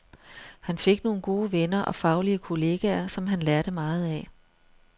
Han fik nogle gode venner og faglige kolleger, som han lærte meget af.